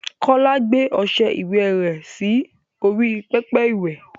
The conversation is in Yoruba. Kọ́lá gbé ọṣẹ ìwẹ rẹ̀ sí orí pẹpẹ iwẹ̀.